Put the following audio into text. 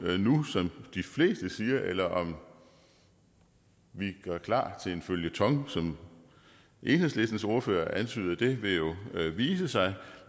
nu som de fleste siger eller om vi gør klar til en føljeton som enhedslistens ordfører antyder vil jo vise sig